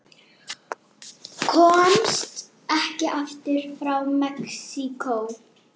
Komst ekki aftur frá Mexíkó